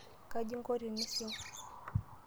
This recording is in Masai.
Kaji inko tenising?